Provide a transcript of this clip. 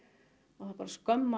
það er bara skömm að